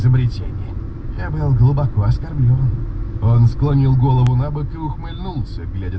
склонил голову набок